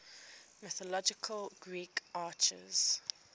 mythological greek archers